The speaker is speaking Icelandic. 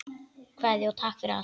Kveðja og takk fyrir allt.